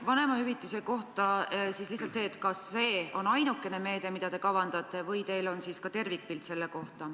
Vanemahüvitise kohta küsin, kas see on ainukene meede, mida te kavandate, või näete ka mingit tervikpilti?